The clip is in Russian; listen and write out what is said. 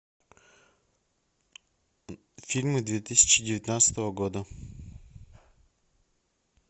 фильмы две тысячи девятнадцатого года